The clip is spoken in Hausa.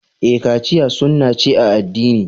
Ee, kachiya sunna ce a addini.